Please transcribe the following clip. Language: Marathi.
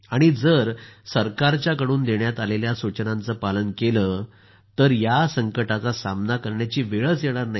आणि जर सरकारच्या कडून देण्यात आलेल्या सूचनांचं पालन केलं तर या संकटाचा सामना करण्याची वेळच येत नाही